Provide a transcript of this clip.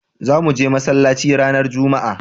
za muje masallaci ranar jumma'a